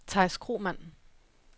Theis Kromann